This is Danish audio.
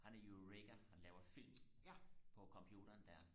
han er jo ikke han laver film på computeren der